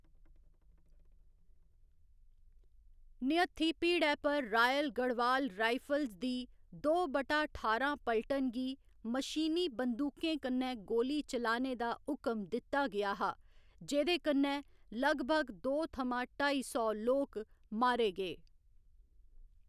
निहत्थी भीड़ै पर royal Garhwal rifles दी दो बटा ठारां पल्टन गी मशीनी बंदूकें कन्नै गोली चलाने दा हुकम दित्ता गेआ हा, जेह्कन्नै लगभग दो थमां ढाई सौ लोक मारे गे।